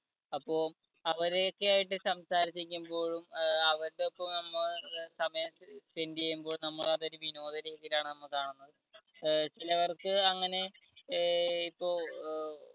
അപ്പോ അവരെയൊക്കെ ആയിട്ട് സംസാരിച്ചിരിക്കുമ്പോഴും അവരുടെ ഒപ്പം നമ്മൾ സമയം spend ചെയ്യുമ്പോഴും നമ്മൾ അതൊരു വിനോദ രീതിയിലാണ് നമ്മൾ കാണുന്നത്. അഹ് ചിലവർക്ക് അങ്ങനെ അഹ് ഇപ്പോ